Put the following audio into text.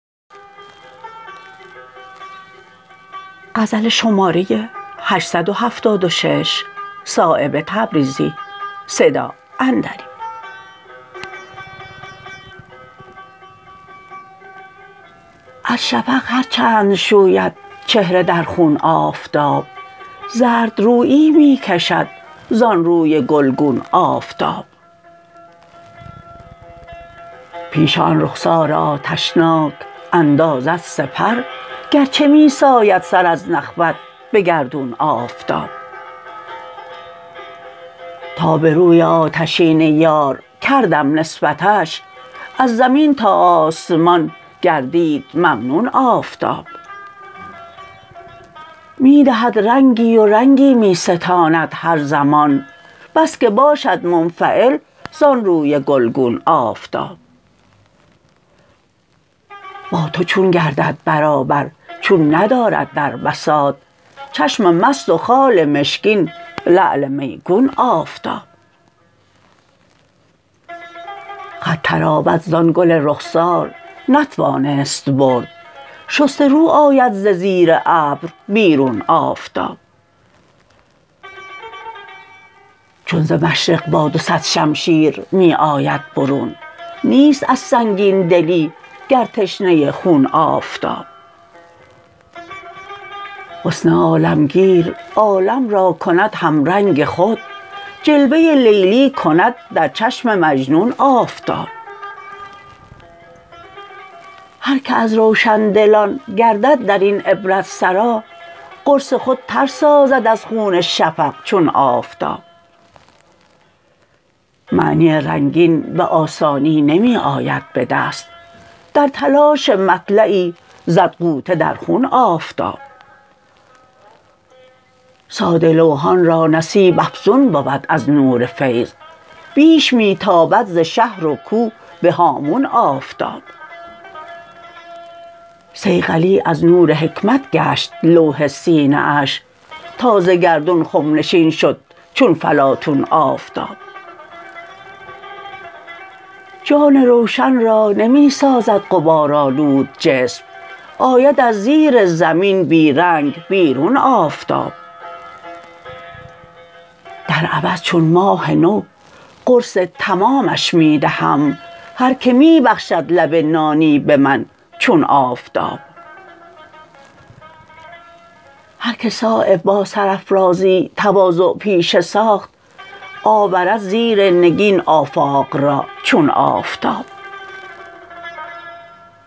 از شفق هر چند شوید چهره در خون آفتاب زردرویی می کشد زان روی گلگون آفتاب پیش آن رخسار آتشناک اندازد سپر گرچه می ساید سر از نخوت به گردون آفتاب تا به روی آتشین یار کردم نسبتش از زمین تا آسمان گردید ممنون آفتاب می دهد رنگی و رنگی می ستاند هر زمان بس که باشد منفعل زان روی گلگون آفتاب با تو چون گردد برابر چون ندارد در بساط چشم مست و خال مشکین لعل میگون آفتاب خط طراوت زان گل رخسار نتوانست برد شسته رو آید ز زیر ابر بیرون آفتاب چون ز مشرق با دو صد شمشیر می آید برون نیست از سنگین دلی گر تشنه خون آفتاب حسن عالمگیر عالم را کند همرنگ خود جلوه لیلی کند در چشم مجنون آفتاب هر که از روشندلان گردد درین عبرت سرا قرص خود تر سازد از خون شفق چون آفتاب معنی رنگین به آسانی نمی آید به دست در تلاش مطلعی زد غوطه در خون آفتاب ساده لوحان را نصیب افزون بود از نور فیض بیش می تابد ز شهر و کو به هامون آفتاب صیقلی از نور حکمت گشت لوح سینه اش تا ز گردون خم نشین شد چون فلاطون آفتاب جان روشن را نمی سازد غبارآلود جسم آید از زیر زمین بی رنگ بیرون آفتاب در عوض چون ماه نو قرص تمامش می دهم هر که می بخشد لب نانی به من چون آفتاب هر که صایب با سرافرازی تواضع پیشه ساخت آورد زیر نگین آفاق را چون آفتاب